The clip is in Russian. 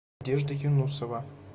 юнусова